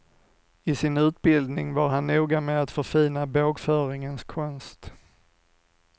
I sin utbildning var han noga med att förfina bågföringens konst.